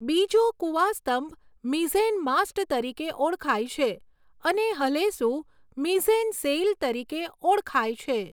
બીજો કુવાસ્તંભ mizzen mast તરીકે ઓળખાય છે અને હલેસું મિઝેન સેઈલ તરીકે ઓળખાય છે.